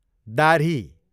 दाह्री